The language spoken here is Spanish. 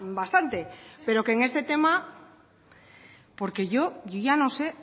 bastante pero que en este tema porque yo ya no sé